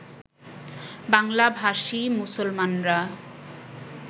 বাংলাভাষী মুসলমানরা